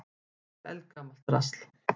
Þetta er eldgamalt drasl.